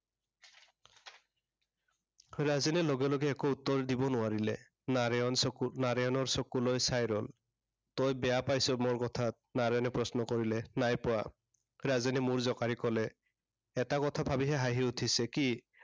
ৰাজেনে লগে লগে একো উত্তৰ দিব নোৱাৰিলে। নাৰায়ণ চকুত নাৰায়ণৰ চকুলৈ চাই ৰ'ল। তই বেয়া পাইছ মোৰ কথাত। নাৰায়ণে প্ৰশ্ন কৰিলে। নাই পোৱা। ৰাজেনে মূৰ জোঁকাৰি কলে। এটা কথা ভাবেহে হাঁহি উঠিছে, কি